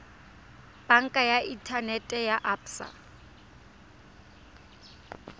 banka ya inthanete ya absa